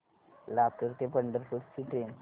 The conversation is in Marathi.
लातूर ते पंढरपूर ची ट्रेन